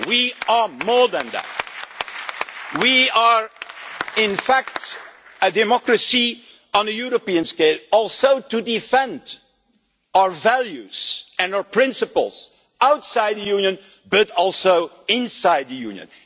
we are more than that, we are in fact a democracy on a European scale and also to defend our values and our principles outside the Union, but also inside the Union.